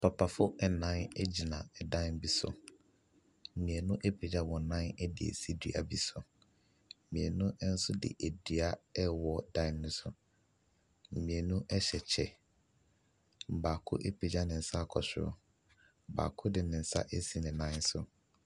Papafoɔ nan egyina dan bi so. Mmienu apegya wɔn nan asi dua bi so. Mmienu nso de dua rewɔ dan no so. Mmienu hyɛ kyɛ. Baako apegya ne nsa akɔ soro. Baako de ne nsa asi ne nan so.